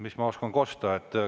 Mis ma oskan kosta?